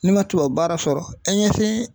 N'i man tubabu baara sɔrɔ e ɲɛsin